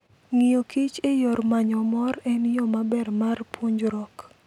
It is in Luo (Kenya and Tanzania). Ng'iyo kich e yor manyo mor en yo maber mar puonjruok.